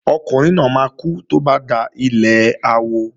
Ọkùnrin náà máa kú tó bá dalẹ̀ awo